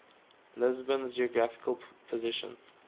lisbon's geographical position